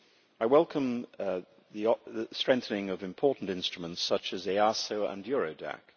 I welcome the strengthening of important instruments such EASO and Eurodac.